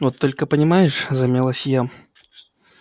вот только понимаешь замялась я